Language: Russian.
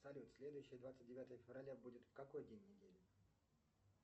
салют следующее двадцать девятое февраля будет в какой день недели